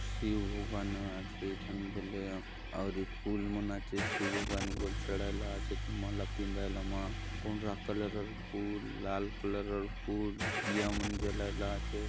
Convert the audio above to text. शिव भगवान आचे ए थाने बले आउरी फूल मन आचे शिव भगवान के बले चढ़ाय ला आचेत माला पिंधाय ला मा पंडरा कलर र फूल लाल कलर र फूल दिया मन जलाय ला आचेत।